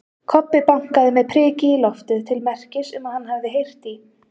Kobbi bankaði með priki í loftið til merkis um að hann hafi heyrt í